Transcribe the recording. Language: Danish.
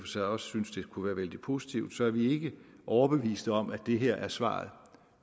sig også synes det kunne være vældig positivt så er vi ikke overbevist om at det her er svaret